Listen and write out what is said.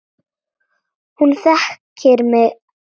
Hún þekkir hann.